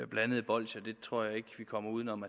blandede bolsjer det tror jeg ikke vi kommer uden om